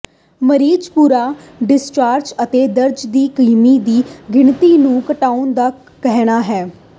ਮਰੀਜ਼ ਭੂਰਾ ਡਿਸਚਾਰਜ ਅਤੇ ਦਰਦ ਦੀ ਕਮੀ ਦੀ ਗਿਣਤੀ ਨੂੰ ਘਟਾਉਣ ਦਾ ਕਹਿਣਾ ਹੈ